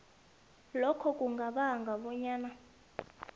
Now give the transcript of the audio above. lokho kungabanga bonyana